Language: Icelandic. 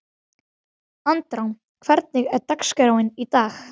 Andrá, hvernig er dagskráin í dag?